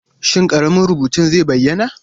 Shin ƙaramin rubutun zai bayyana?